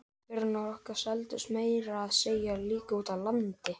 Vörurnar okkar seldust meira að segja líka úti á landi.